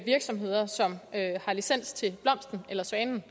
virksomheder som har licens til blomsten eller svanen